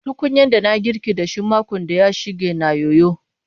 Tukunyan da na yi girkin da shi makon da ya shige na yoyo.